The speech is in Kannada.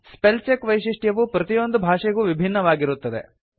ಸ್ಪೆಲ್ ಚೆಕ್ ವೈಶಿಷ್ಟ್ಯವು ಪ್ರತಿಯೊಂದು ಭಾಷೆಗೂ ವಿಭಿನ್ನವಾಗಿರುತ್ತದೆ